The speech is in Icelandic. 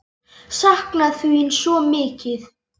Sakna þín svo mikið.